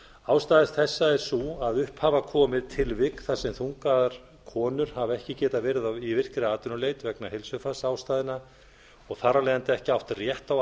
ástæður þessa er sú að upp hafa komið tilvik þar sem þungaðar konur hafa ekki getað verið í virkri atvinnuleit vegna heilsufarsastæðna og þar af leiðandi ekki átt rétt á